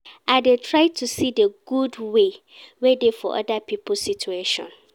I dey try to see di good wey dey for oda pipo situation.